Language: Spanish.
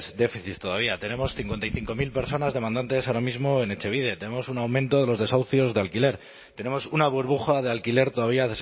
déficits todavía tenemos cincuenta y cinco mil personas demandantes ahora mismo en etxebide tenemos un aumento de los desahucios de alquiler tenemos una burbuja de alquiler todavía